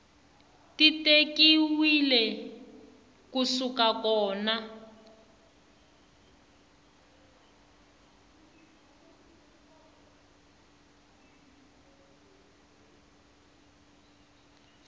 ti tekiwile ku suka kona